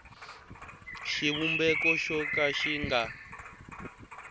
xivumbeko xo ka xi nga